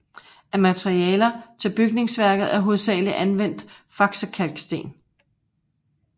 Af materialer til bygningsværket er hovedsageligt anvendt Faksekalksten